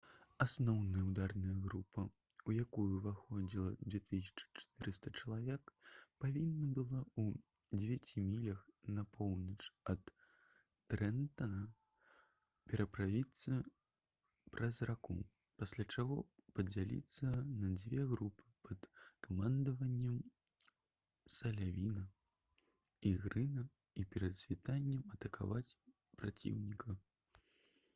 асноўная ўдарная група у якую ўваходзіла 2400 чалавек павінна была ў дзевяці мілях на поўнач ад трэнтана пераправіцца праз раку пасля чаго падзяліцца на дзве групы пад камандаваннем салівана і грына і перад світаннем атакаваць праціўніка